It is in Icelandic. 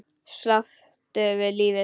Sáttur við lífið.